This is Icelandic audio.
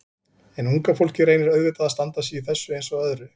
En unga fólkið reynir auðvitað að standa sig í þessu eins og öðru.